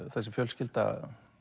þessi fjölskylda